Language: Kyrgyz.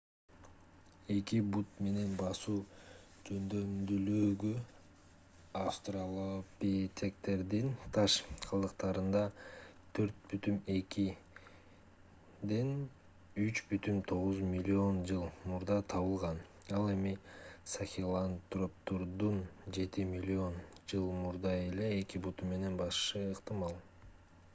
эки бут менен басуу жөндөмдүүлүгү австралопитектердин таш калдыктарында 4,2–3,9 миллион жыл мурда табылган ал эми сахелантроптордун жети миллион жыл мурда эле эки буту менен басышы ыктымал